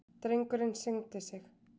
Drengurinn signdi sig.